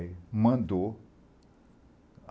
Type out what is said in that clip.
Aí, mandou.